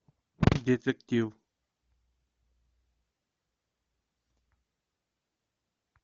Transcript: детектив